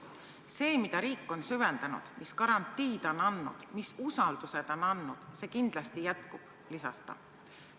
See, mida riik on süvendanud, mis garantii ta on andnud, mis usalduse ta on andnud, see kindlasti jätkub," lisas ta.